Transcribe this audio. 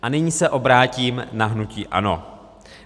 A nyní se obrátím na hnutí ANO.